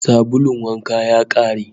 Sabulun wanka ya kare